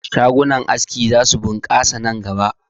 Shagunan aski za su ɓunkasa nan gaba